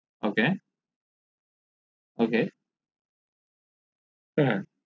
আর ok ok ok ফুল mango black currant blue বেড়ি